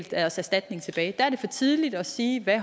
deres erstatning tilbage er det for tidligt at sige hvad